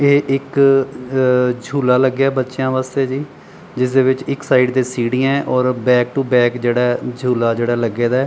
ਤੇ ਇੱਕ ਝੂਲਾ ਲੱਗਿਆ ਬੱਚਿਆਂ ਵਾਸਤੇ ਜੀ ਜਿਸ ਦੇ ਵਿੱਚ ਇੱਕ ਸਾਈਡ ਤੇ ਸੀੜੀਆਂ ਔਰ ਬੈਕ ਟੂ ਬੈਕ ਜਿਹੜਾ ਝੂਲਾ ਜਿਹੜਾ ਲੱਗੇ ਦਾ ਐ।